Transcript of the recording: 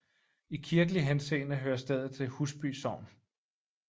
I kirkelig henseende hører stedet til Husby Sogn